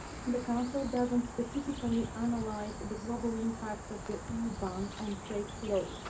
The Council does not specifically analyse the global impact of the EU ban on trade flows.